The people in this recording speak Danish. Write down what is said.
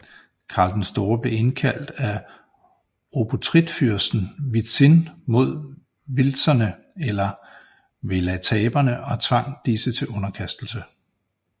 Karl den Store blev indkaldt af obotritfyrsten Witzin mod wilzerne eller welataberne og tvang disse til underkastelse